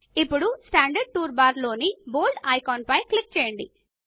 ఇప్పుడు standard tool bar లోని bold icon పైన క్లిక్ చేయండి